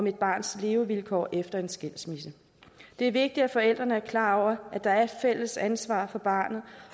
et barns levevilkår efter en skilsmisse det er vigtigt at forældrene er klar over at der er et fælles ansvar for barnet